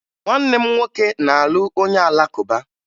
Nwanne m nwoke na-alụ onye Alakụba